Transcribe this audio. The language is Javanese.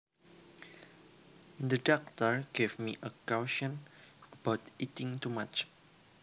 The doctor gave me a caution about eating too much